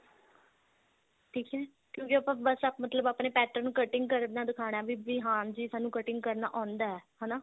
ਠੀਕ ਹੈਂ ਕਿਉਂਕਿ ਬੱਸ ਮਤਲਬ ਆਪਣੇ pattern ਨੂੰ cutting ਕਰਦਾ ਦਿਖਾਨਾ ਵੀ ਹਾਂਜੀ ਸਾਨੂੰ cutting ਕਰਨਾ ਆਉਂਦਾ ਹਨਾ